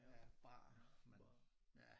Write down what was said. Ja barer ja